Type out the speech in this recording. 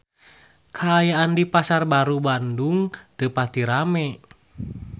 Kaayaan di Pasar Baru Bandung teu pati rame